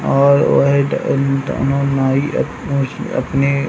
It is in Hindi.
और वह द दोनों नाई अपने --